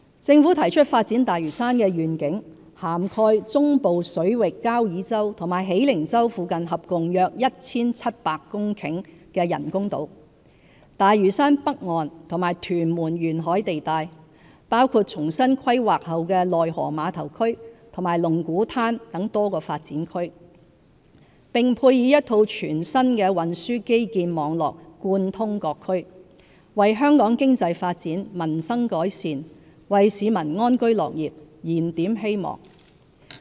政府提出發展大嶼山的願景，涵蓋中部水域交椅洲和喜靈洲附近合共約 1,700 公頃的人工島、大嶼山北岸和屯門沿海地帶，包括重新規劃後的內河碼頭區和龍鼓灘等多個發展區；並配以一套全新的運輸基建網絡貫通各區，為香港經濟發展、民生改善，為市民安居樂業燃點希望。